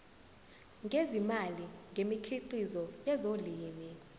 ngezimali ngemikhiqizo yezolimo